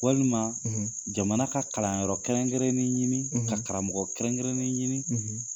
Walima jamana ka kalanyɔrɔ kɛrɛnkɛrɛnnen ɲini ka karamɔgɔ kɛrɛnkɛrɛnnen ɲini